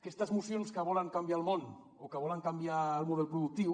aquestes mocions que volen canviar el món o que volen canviar el model productiu